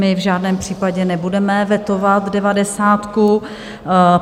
My v žádném případě nebudeme vetovat devadesátku.